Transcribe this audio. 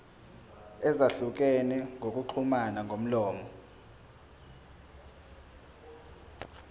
ezahlukene zokuxhumana ngomlomo